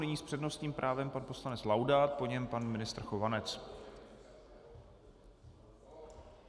Nyní s přednostním právem pan poslanec Laudát, po něm pan ministr Chovanec.